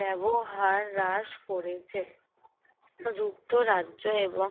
ব্যবহার রাস করেছে যুক্তরাজ্য এবং